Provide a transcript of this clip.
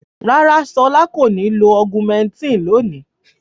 Rárá, Ṣọlá kò ní lo Augumentin lónìí.